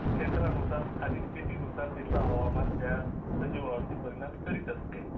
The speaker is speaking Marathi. क्षेत्रानुसार स्थानिक स्थिती नुसार तीथले हवामान त्या सजीवा वरती परिणाम करीत असते